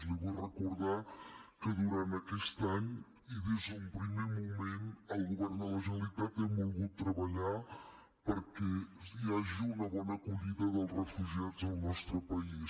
li vull recordar que durant aquest any i des d’un primer moment el govern de la generalitat hem volgut treballar perquè hi hagi una bona acollida dels refugiats al nostre país